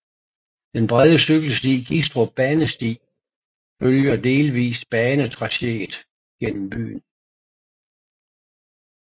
Den brede cykelsti Gistrup Banesti følger delvis banetracéet gennem byen